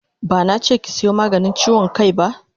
Bana che ki sayo maganin chiwon kai ba!